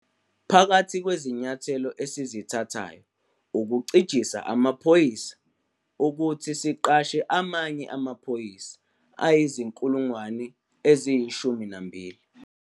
Phakathi kwezinyathelo esizithathayo ukucijisa amaphoyisa ukuthi siqashe amanye amaphoyisa ayizi-12 000.